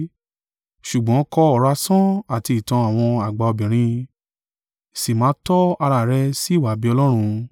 Ṣùgbọ́n kọ ọ̀rọ̀ asán àti ìtàn àwọn àgbà obìnrin, sì máa tọ́ ara rẹ sí ìwà-bí-Ọlọ́run.